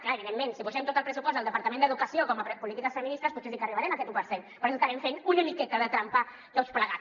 clar evidentment si posem tot el pressupost del departament d’educació com a polítiques feministes potser sí que arribarem a aquest u per cent però estarem fent una miqueta de trampa tots plegats